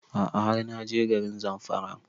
A'a har na je garin Zamfara